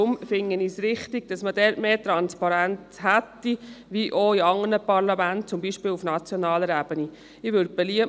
Deshalb finde ich es richtig, diesbezüglich mehr Transparenz zu haben, wie dies auch in anderen Parlamenten, zum Beispiel auf nationaler Ebene, der Fall ist.